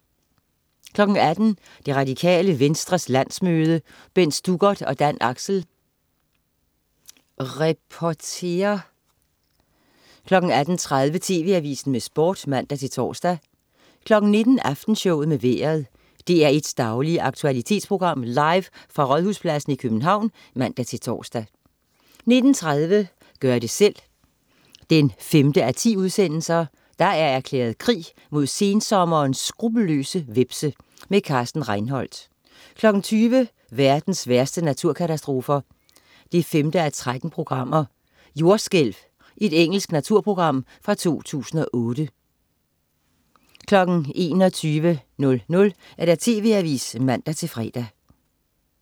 18.00 Det Radikale Venstres landsmøde. Bent Stuckert og Dan Axel reporterer 18.30 TV Avisen med Sport (man-tors) 19.00 Aftenshowet med Vejret. DR1's daglige aktualitetsprogram, live fra Rådhuspladsen i København (man-tors) 19.30 Gør det selv 5:10. Der er erklæret krig mod sensommerens skruppelløse hvepse. Carsten Reinholt 20.00 Verdens værste naturkatastrofer 5:13. "Jordskælv". Engelsk naturprogram fra 2008 21.00 TV Avisen (man-fre)